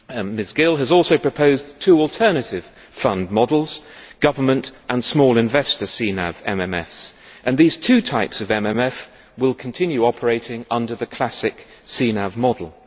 Ms Gill has also proposed two alternative fund models government and small investor CNAV MMFs and these two types of MMF will continue operating under the classic CNAV model.